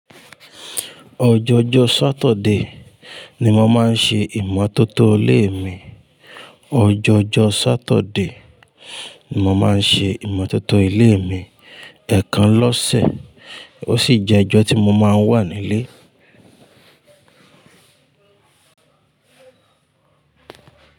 Ọjọojọ Saturday ni mo máa ń ṣe ìmọ́tótó ilé mi. Ọjọojọ Saturday ni mo máa ń ṣe ìmọ́tótó ilé mi, ẹ̀ẹ̀kan lọ́sẹ̀, ó sì jẹ́ ọjọ́ tí mo máa ń wà nílé.